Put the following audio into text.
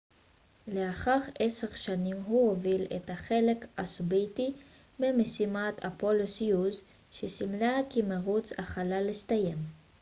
לאחר עשר שנים הוא הוביל את החלק הסובייטי במשימת אפולו-סויוז שסימלה כי מרוץ החלל הסתיים